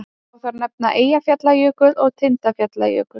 Má þar nefna Eyjafjallajökul og Tindfjallajökul.